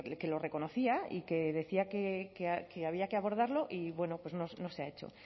que lo reconocía y que decía que había que abordarlo y bueno pues no se ha hecho